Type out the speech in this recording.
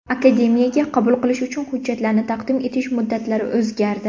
Akademiyaga qabul qilish uchun hujjatlarni taqdim etish muddatlari o‘zgardi.